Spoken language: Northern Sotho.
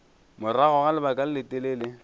morago ga lebaka le letelele